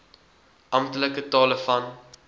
amptelike tale van